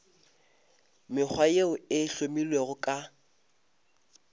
mekgwa yeo e hlomilwego ka